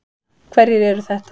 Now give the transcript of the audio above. Hverjir eru þetta?